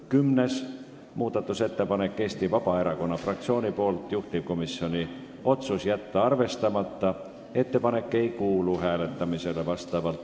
Kümnes muudatusettepanek on Eesti Vabaerakonna fraktsioonilt, juhtivkomisjoni otsus on jätta arvestamata.